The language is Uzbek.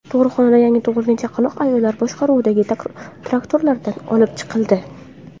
Tug‘ruqxonadan yangi tug‘ilgan chaqaloq ayollar boshqaruvidagi traktorlarda olib chiqildi.